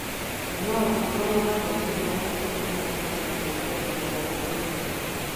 No ũgĩkorwo na moimĩrĩra metekũmenyeka na kũngania mohoro kũritũhe.